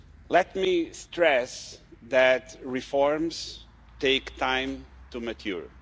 Let me stress that reforms take time to mature.